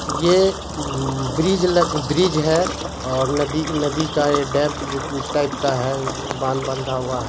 ये bridge bridge है और नदी नदी का ये टाइप का है बांध बंधा हुआ है।